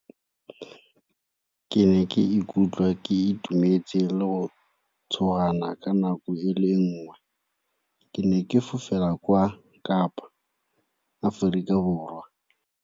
Ke ne ke ikutlwa ke itumetse le go ka nako e le nngwe, ke ne ke fofela kwa Kapa Aforika Borwa.